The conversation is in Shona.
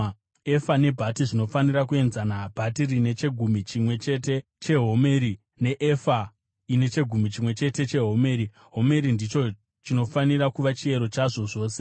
Efa nebhati zvinofanira kuenzana, bhati rine chegumi chimwe chete chehomeri neefa ine chegumi chimwe chete chehomeri; homeri ndicho chinofanira kuva chiyero chazvo zvose.